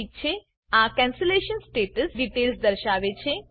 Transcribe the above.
ઠીક છે આ કેન્સેલેશન સ્ટેટસ ડિટેલ્સ દર્શાવે છે